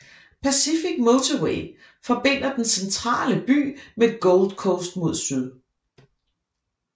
Pacific Motorway forbinder den centrale by med Gold Coast mod syd